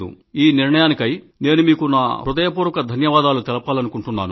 ఈ నిర్ణయానికై నేను మీకు నా హృదయపూర్వక ధన్యవాదాలు తెలపాలనుకుంటున్నాను